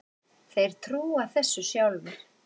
Þeir trúa þessu sjálfir